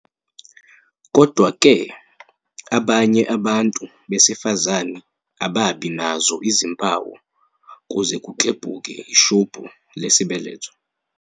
"Kodwa-ke, abanye abantu besifazane ababi nazo izimpawu kuze kuklebhuke ishubhu lesibeletho."